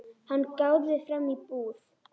Hann gáði fram í búð.